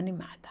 Animada.